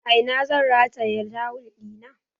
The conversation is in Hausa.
A ina zan rataye tawul ɗina?